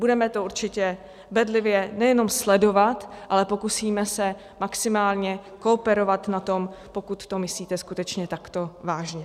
Budeme to určitě bedlivě nejenom sledovat, ale pokusíme se maximálně kooperovat na tom, pokud to myslíte skutečně takto vážně.